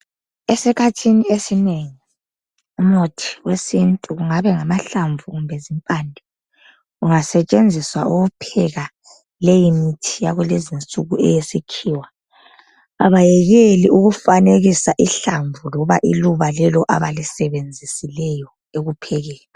Esikhathini esinengi umuthi wesintu kungabe ngamahlamvu kumbe zimpande kungasetshenziswa ukupheka leyi mithi yakulezinsuku eyesikhiwa abayekeli ukufanekisa ihlamvu loba iluba lelo abalisebenzisileyo ekuphekeni.